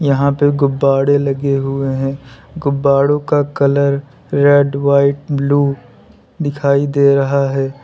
यहां पे गुब्बाड़े लगे हुए हैं गुब्बाड़ों का कलर रेड व्हाइट ब्लू दिखाई दे रहा है।